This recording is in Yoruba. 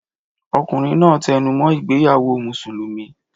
Ọkùnrin náà tẹnumọ́ ìgbéyàwó Mùsùlùmí.